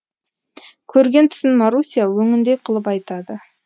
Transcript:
көрген түсін маруся өңіндей қылып айтады